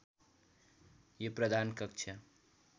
यो प्रधान कक्ष